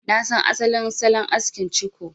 Na san asalin salon askin ciko.